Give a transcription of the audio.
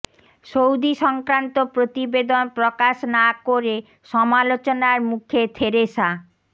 Saudi সংক্রান্ত প্রতিবেদন প্রকাশ না করে সমালোচনার মুখে থেরেসা